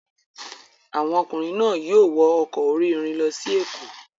Àwọn ọkùnrin náà yóò wọ ọkọ̀ orí-irin lọ sí Èkó.